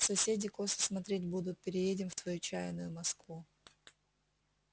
соседи косо смотреть будут переедем в твою чаянную москву